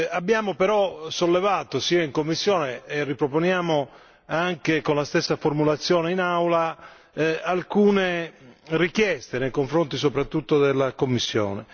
Abbiamo però sollevato, sia in commissione, e riproponiamo anche con la stessa formulazione in Aula, alcune richieste nei confronti soprattutto della Commissione.